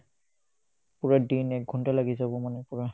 পূৰা দিন একঘণ্টা লাগিছে মোৰ মানে পূৰা